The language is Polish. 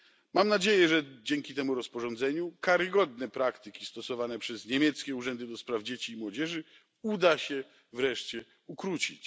Mam nadzieję, że dzięki temu rozporządzeniu karygodne praktyki stosowane przez niemieckie urzędy do spraw dzieci i młodzieży uda się wreszcie ukrócić.